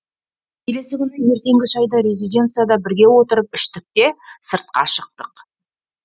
келесі күні ертеңгі шайды резиденцияда бірге отырып іштік те сыртқа шықтық